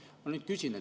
Ma nüüd küsin.